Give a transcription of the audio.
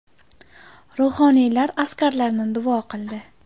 Ruhoniylar askarlarni duo qildi.